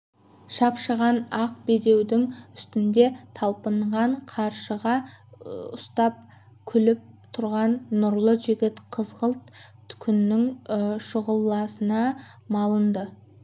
шапшыған ақ бедеудің үстінде талпынған қаршыға ұстап күліп тұрған нұрлы жігіт қызғылт күннің шұғыласына малынды